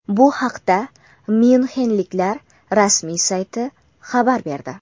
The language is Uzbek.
Bu haqda myunxenliklar rasmiy sayti xabar berdi.